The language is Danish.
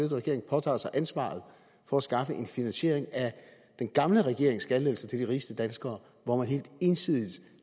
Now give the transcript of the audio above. regering påtager sig ansvaret for at skaffe en finansiering af den gamle regerings skattelettelser til de rigeste danskere hvor man helt ensidigt